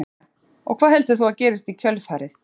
Helga María: Og hvað heldur þú að gerist í kjölfarið?